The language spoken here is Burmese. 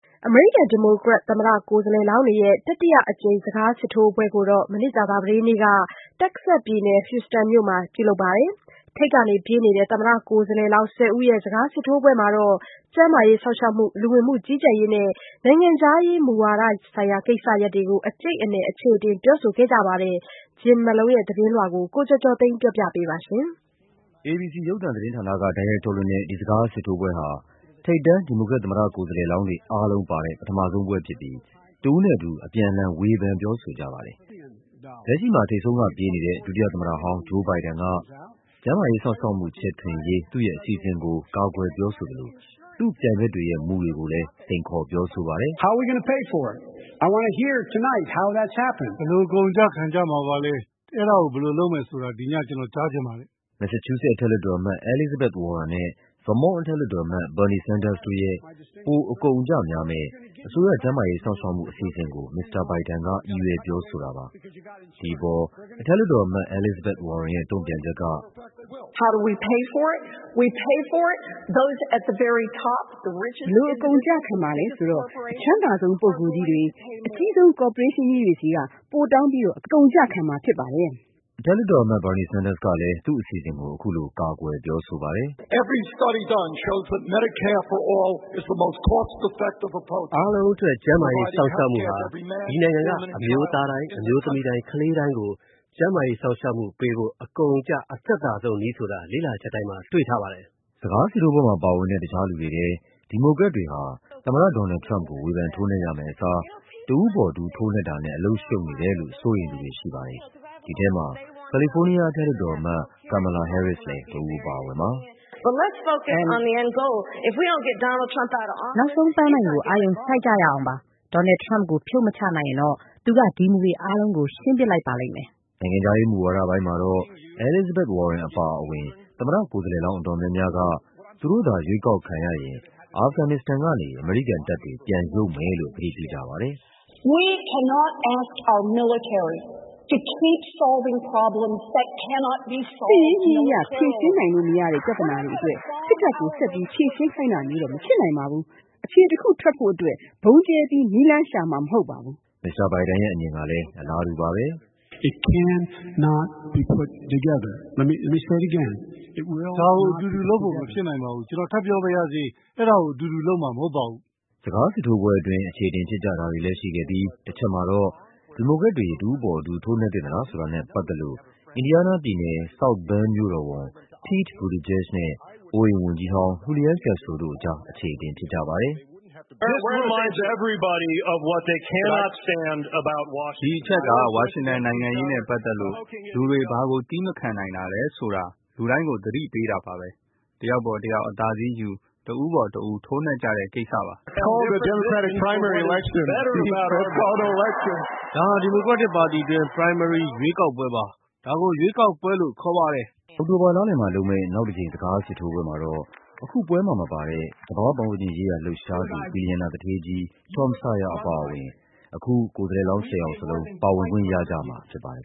အမေရိကန် ဒီမိုကရက် သမ္မတကိုယ်စားလှယ်လောင်းတွေရဲ့ တတိယအကြိမ် စကားစစ်ထိုးပွဲကို ကြာသပတေးနေ့ က တက္ကဆက်စ်ပြည်နယ်၊ Houston မြို့မှာလုပ်ပါတယ်။ ထိပ်ကပြေးနေတဲ့ သမ္မတကိုယ်စားလှယ်လောင်း ၁၀ ဦးရဲ့ စကား စစ်ထိုးပွဲမှာ ကျန်းမာရေးစောင့်ရှောက်မှု၊ လူဝင်မှုကြီးကြပ်ရေးနဲ့ နိုင်ငံခြားရေးမူဝါဒဆိုင်ရာ ကိစ္စရပ်တွေကို အကျိတ်အနယ် အခြေ အတင်ပြောဆိုကြပါတယ်။ Jim Malone ရဲ့သတင်းလွှာကို ကိုကျော်ကျော်သိန်းက ပြောပြပါမယ်။ ABC ရုပ်သံသတင်းဌာနက တိုက်ရိုက်ထုတ်လွှင့်တဲ့ ဒီစကားစစ်ထိုးပွဲဟာ ထိပ်တန်း ဒီမိုကရက် သမ္မတကိုယ်စားလှယ် လောင်းတွေ အားလုံးပါတဲ့ ပထမဆုံးပွဲဖြစ်ပြီး တဦးနဲ့တဦး အပြန်အလှန် ဝေဖန် ပြောဆိုကြပါတယ်။ လက်ရှိမှာ ထိပ်ဆုံးကပြေးနေတဲ့ ဒုတိယသမ္မတဟောင်း Joe Biden က ကျန်းမာရေးစောင့်ရှောက်မှု ချဲ့ထွင်ရေး သူ့ရဲ့အစီအစဉ် ကို ကာကွယ်ပြောဆိုသလို သူ့ပြိုင်ဘက်တွေရဲ့ မူတွေကိုလည်း စိန်ခေါ်ပြောဆိုပါတယ်။ Joe Biden။ ။ “ဘယ်လို အကုန်အကျခံကြမှာပါလဲ၊ အဲဒါကို ဘယ်လိုလုပ်မယ်ဆိုတာ ဒီည ကျနော်ကြားချင်ပါတယ်။” မက်ဆာချူးဆက် အထက်လွှတ်တော်အမတ် Elizabeth Warren နဲ့ Vermont အထက်လွှတ်တော်အမတ် Bernie Sanders တို့ ရဲ့ ပိုအကုန်အကျများမယ့် အစိုးရ ကျန်းမာရေးစောင့်ရှောက်မှု အစီအစဉ်ကို မစ္စတာဘိုင်ဒန်က ရည်ရွယ်ပြောဆိုတာပါ။ ဒီအပေါ် အထက်လွှတ်တော်အမတ် Elizabeth Warren ရဲ့ တုန့်ပြန်ချက်က - အထက်လွှတ်တော်အမတ် Elizabeth Warren။ ။“ဘယ်လို အကုန်အကျခံမလဲ ဆိုတော့ အချမ်းသာဆုံး လူပုဂ္ဂိုလ်တွေ၊ အကြီးဆုံး ကော်ပိုရေးရှင်းတွေဆီက ပိုတောင်းပြီးတော့ အကုန်အကျခံမှာဖြစ်ပါတယ်။” အထက်လွှတ်တော်အမတ် Bernie Senders ကလည်း သူ့အစီအစဉ်ကို အခုလို ချပြပြောဆိုပါတယ်။ အထက်လွှတ်တော်အမတ် Bernie Senders။ ။“အားလုံးအတွက် ကျန်းမာရေး စောင့်ရှောက်မှုဟာ ဒီနိုင်ငံက အမျိုးသားတိုင်း၊ အမျိုးသမီးတိုင်း၊ ကလေးတိုင်းကို ကျန်းမာရေးစောင့်ရှောက်မှုပေးဖို့ အကုန်အကျ အသက်သာဆုံးနည်းဆိုတာ လေ့လာချက်တိုင်းမှာ တွေ့ထားပါတယ်။” စကားစစ်ထိုးပွဲမှာပါဝင်တဲ့ တခြားလူတွေထဲ ဒီမိုကရက်တွေဟာ သမ္မတ ဒေါ်နယ်လ်ဒ် ထရမ့်ပ်ကို ဝေဖန်ထိုးနှက်ရမယ့်အစား တဦး ပေါ်တဦး ထိုးနှက်တာနဲ့ အလုပ်ရှုပ်နေတယ်လို့ စိုးရိမ်သူတွေရှိပါတယ်။ ဒီထဲမှာ ကာလီဖိုးနီးယား အထက်လွှတ်တော်အမတ် Kamala Harris လည်း တဦးအပါအဝင်ပါ။ အထက်လွှတ်တော်အမတ် Kamala Harris ။ ။“နောက်ဆုံးပန်းတိုင်ကို အာရုံစိုက်ကြရ အောင်ပါ။ ဒေါ်နယ်လ်ဒ် ထရမ့်ပ်ကို ဖြုတ်မချနိုင်ရင်တော့ သူက ဒီမူတွေအားလုံးကို ရှင်းပစ်လိုက်ပါလိမ့်မယ်။” နိုင်ငံခြားရေးမူဝါဒပိုင်းမှာတော့ Elizabeth Warren အပါအဝင် သမ္မတ ကိုယ်စားလှယ်လောင်း အတော်များများက သူတို့သာ ရွေးကောက်ခံရရင် အာဖဂန်နစ္စတန်ကနေ အမေရိကန်တပ်တွေ ပြန်ရုပ်မယ်လို့ ကတိပြုကြပါတယ်။ Elizabeth Warren။ ။“စစ်ရေးနည်းအရ ဖြေရှင်းလို့မရတဲ့ ပြဿနာတွေ စစ်တပ်ကို ဆက်ပြီးဖြေရှင်းခိုင်းတာမျိုး မဖြစ်နိုင်ပါဘူး။ အဖြေတခုထွက်ဖို့အတွက် ဗုံးကျဲပြီး နည်းလမ်းရှာမှာမဟုတ်ပါဘူး။” မစ္စတာဘိုင်ဒန်ရဲ့ အမြင်ကလည်း အလားတူပါပဲ။ Joe Biden။ ။“ဒါကို အတူတူလုပ်ဖို့ မဖြစ်နိုင်ပါဘူး။ ကျနော် ထပ်ပြောပါရစေ။ အဲဒါကို အတူတူလုပ်မှာ မဟုတ်ပါဘူး။” စကားစစ်ထိုးပွဲအတွင်း အခြေအတင်ဖြစ်ကြတာတွေလည်းရှိခဲ့ပြီး တချက်မှာတော့ ဒီမိုကရက်တွေ တဦးအပေါ်တဦး ထိုးနှက်သင့် သလားဆိုတာနဲ့ပတ်သက်လို့ အင်ဒီယားနားပြည်နယ်၊ South Bend မြို့တော်ဝန် Pete Buttigieg နဲ့ အိုးအိမ်ဝန်ကြီးဟောင်း Julian Castro တို့ကြား အခြေအတင်ဖြစ်ပါတယ်။ မြို့တော်ဝန် Pete Buttigieg။ ။ “ဒီအချက်က ဝါရှင်တန်နိုင်ငံရေးနဲ့ပတ်သက်လို့ လူတွေ ဘာကို သည်းမခံနိုင်တာလဲဆိုတာ လူတိုင်းကို သတိပေးတာပါပဲ။ တယောက်ပေါ်တယောက် အသာစီးယူ၊ တဦးပေါ်တဦး ထိုးနှက်ကြတဲ့ကိစ္စပါ။” Julian Castro။ ။ “ဒါဟာ ဒီမိုကရက်တစ်ပါတီတွင်း primary ရွေးကောက်ပွဲပါ။ ဒါကို ရွေးကောက်ပွဲလို့ခေါ်ပါတယ်။” အောက်တိုဘာလလည်မှာလုပ်မယ့် နောက်တကြိမ် စကားစစ်ထိုးပွဲမှာတော့ အခုပွဲမှာမပါတဲ့ သဘာဝပတ်ဝန်းကျင်ရေးရာ လှုပ်ရှား သူ ဘီလီယံနာသူဌေးကြီး Tom Steyer အပါအဝင် အခု ကိုယ်စားလှယ်လောင်း ၁၀ ယောက်စလုံး ပါဝင်ခွင့်ရကြမှာဖြစ်ပါတယ်